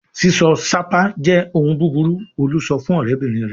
"Sísọ sápá jẹ́ ohun búburú!" Olú sọ fún ọ̀rẹ́bìnrin rẹ̀!